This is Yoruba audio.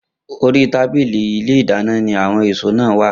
Orí tábìlì ní ilé ìdáná ni àwo̩n èso náà wà